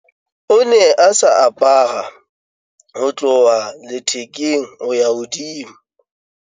o ne a sa apara ho tloha lethekeng ho ya hodimo